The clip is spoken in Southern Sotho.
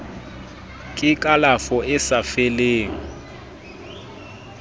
ke kalafo e sa fellang